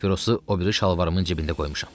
Papirosu o biri şalvarımın cibində qoymuşam.